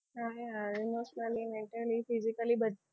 emostionally mantaly physicaly